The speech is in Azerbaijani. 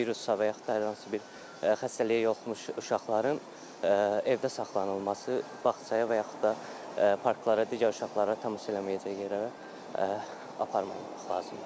Virusla və yaxud da hər hansı bir xəstəliyə yolmuş uşaqların evdə saxlanılması bağçaya və yaxud da parklara, digər uşaqlara təmas eləməyəcəyi yerə aparmaq lazımdır.